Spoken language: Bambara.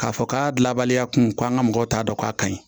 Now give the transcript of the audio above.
K'a fɔ k'a labaliya kun ko an ka mɔgɔw t'a dɔn k'a ka ɲi